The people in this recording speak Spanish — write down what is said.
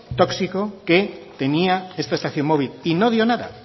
tóxico que tenía esta estación móvil y no dio nada